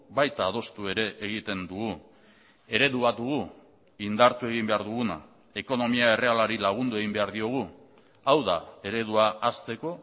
baita adostu ere egiten dugu eredu bat dugu indartu egin behar duguna ekonomia errealari lagundu egin behar diogu hau da eredua hazteko